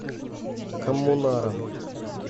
коммунаром